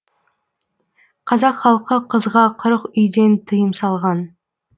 қазақ халқы қызға қырық үйден тыйым салған